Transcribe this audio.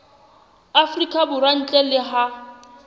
afrika borwa ntle le ha